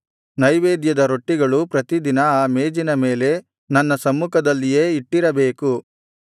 ನೈವೇದ್ಯದ ರೊಟ್ಟಿಗಳು ಪ್ರತಿದಿನ ಆ ಮೇಜಿನ ಮೇಲೆ ನನ್ನ ಸಮ್ಮುಖದಲ್ಲಿಯೇ ಇಟ್ಟಿರಬೇಕು